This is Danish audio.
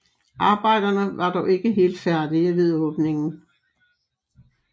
Arbejderne var dog ikke helt færdige ved åbningen